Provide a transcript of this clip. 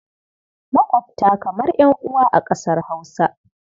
Maƙwabta kamar ƴan'uwa a ƙasar Hausa.